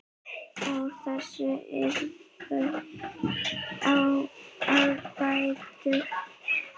Úr þessu yrði að bæta.